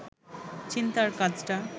চিন্তার কাজটা